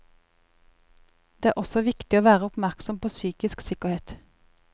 Det er også viktig å være oppmerksom på psykisk sikkerhet.